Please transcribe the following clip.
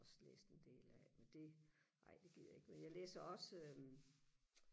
også læst en del af men det ej det gider jeg ikke men jeg læser også øh